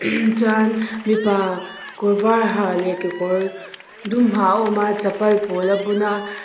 chuan mipa kawr var ha leh kekor dum ha awm a chapal pawl a bun bawk a.